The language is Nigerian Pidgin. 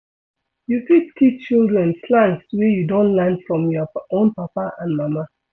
You fit teach children slangs wey you don learn from your own papa and mama